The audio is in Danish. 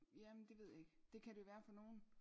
Jamen det ved jeg ikke det kan det være for nogle